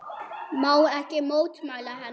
Má ekki mótmæla henni.